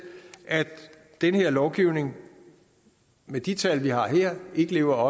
at den her lovgivning med de tal vi har her ikke lever